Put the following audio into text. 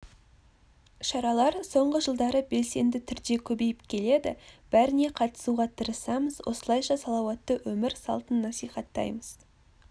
шаралар соңғы жылдары белсенді түрде көбейіп келеді бәріне қатысуға тырысамыз осылайша салауатты өмір салтын насихаттаймыз